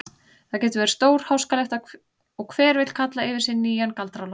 Það getur verið stórháskalegt og hver vill kalla yfir sig nýjan Galdra-Loft.